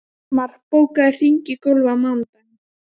Símona, hvaða vikudagur er í dag?